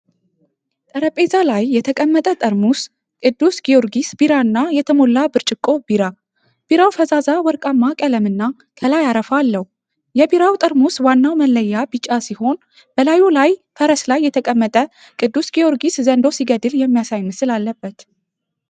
ጠረጴዛ ላይ የተቀመጠ ጠርሙስ ቅዱስ ጊዮርጊስ ቢራና የተሞላ ብርጭቆ ቢራ። ቢራው ፈዛዛ ወርቃማ ቀለምና ከላይ አረፋ አለው። የቢራው ጠርሙስ ዋናው መለያ ቢጫ ሲሆን በላዩ ላይ ፈረስ ላይ የተቀመጠ ቅዱስ ጊዮርጊስ ዘንዶ ሲገድል የሚያሳይ ምስል አለበት።